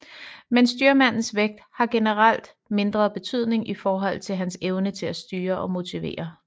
Men styrmandens vægt har generelt mindre betydning i forhold til hans evne til styre og motivere